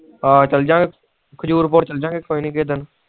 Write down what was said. ਆਹ ਚੈਲੰਜ ਗਏ ਖਜੂਰ ਪੁਰ ਚਲਜਾ ਗਏ ਕਿਸੇ ਦਿਨ